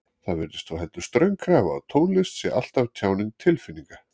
Það virðist þó heldur ströng krafa að tónlist sé alltaf tjáning tilfinninga.